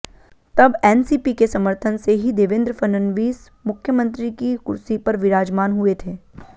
तब एनसीपी के समर्थन से ही देवेंद्र फडणवीस मुख्यमंत्री की कुर्सी पर विराजमान हुए थे